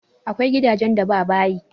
Akwai gidajen da ba bayi.